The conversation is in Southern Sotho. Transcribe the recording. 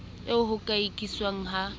eo ho ka ikiswang ha